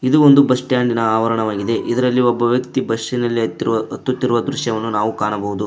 ಇದು ಒಂದು ಬಸ್ ಸ್ಟ್ಯಾಂಡಿ ನ ಆವರಣವಾಗಿದೆ ಇದರಲ್ಲಿ ಒಬ್ಬ ವ್ಯಕ್ತಿ ಬಸ್ಸಿ ನಲ್ಲಿ ಹತ್ತುತ್ತಿರುವ ದೃಶ್ಯವನ್ನು ನಾವು ಕಾಣಬಹುದು.